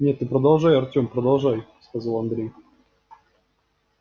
нет ты продолжай артём продолжай сказал андрей